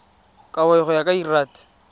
kabo go ya ka lrad